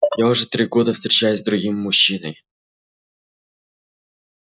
я уже три года встречаюсь с другим мужчиной